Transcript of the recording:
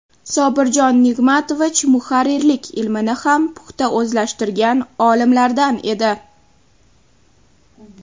Sobirjon Nigmatovich muharrirlik ilmini ham puxta o‘zlashtirgan olimlardan edi.